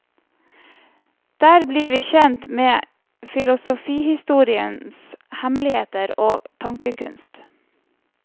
Der blir vi kjent med filosofihistoriens hemmeligheter og tankekunst.